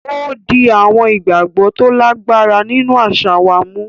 O di awọn ìgbàgbọ to lagbara nínú aṣa wà mú.